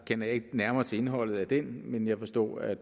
kender jeg ikke nærmere til indholdet af den men jeg forstod at